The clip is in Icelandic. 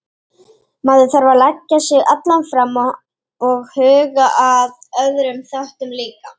Maður þarf að leggja sig allan fram og huga að öðrum þáttum líka.